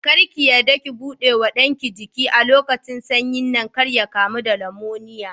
Kar ki yarda ki buɗe wa ɗanki jiki a lokacin sanyin nan kar ya kamu da nimoniya.